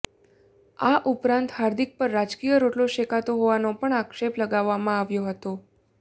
આ ઉપરાંત હાર્દિક પર રાજકીય રોટલો શેકતો હોવાનો પણ આક્ષેપ લગાવવામાં આવ્યો હતો